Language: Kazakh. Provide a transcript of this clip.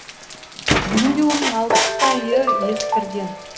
бүгінде оның алпысдайы ескірген